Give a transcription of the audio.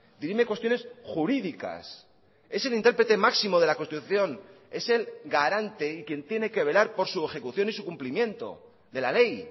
dirime cuestiones jurídicas es el intérprete máximo de la constitución es el garante y quien tiene que velar por su ejecución y su cumplimiento de la ley